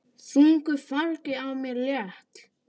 Þungu fargi af mér létt.